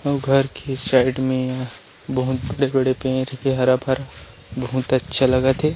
अउ घर के साइड में बहुत बड़े-बड़े पेड़ हे हरा-भरा बहुत अच्छा लगत है।